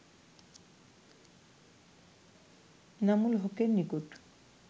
এনামুল হকের নিকট